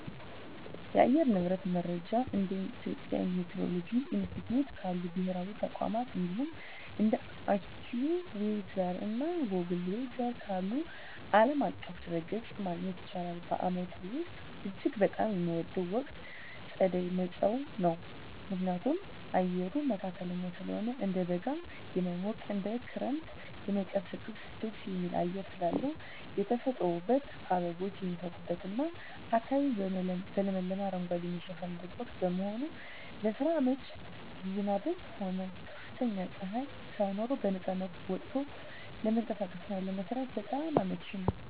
የአየር ንብረት መረጃን እንደ የኢትዮጵያ ሚቲዎሮሎጂ ኢንስቲትዩት ካሉ ብሔራዊ ተቋማት፣ እንዲሁም እንደ AccuWeather እና Google Weather ካሉ ዓለም አቀፍ ድረ-ገጾች ማግኘት ይቻላል። በዓመቱ ውስጥ እጅግ በጣም የምወደው ወቅት ጸደይ (መጸው) ነው። ምክንያቱም፦ አየሩ መካከለኛ ስለሆነ፦ እንደ በጋ የማይሞቅ፣ እንደ ክረምትም የማይቀዘቅዝ ደስ የሚል አየር ስላለው። የተፈጥሮ ውበት፦ አበቦች የሚፈኩበትና አካባቢው በለመለመ አረንጓዴ የሚሸፈንበት ወቅት በመሆኑ። ለስራ አመቺነት፦ ዝናብም ሆነ ከፍተኛ ፀሐይ ሳይኖር በነፃነት ወጥቶ ለመንቀሳቀስና ለመስራት በጣም አመቺ ነው።